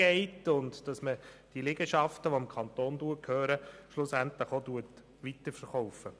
Die Liegenschaften, die dem Kanton gehören, sollten dabei weiterverkauft werden.